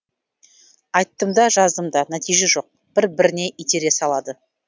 айттым да жаздым да нәтиже жоқ бір біріне итере салады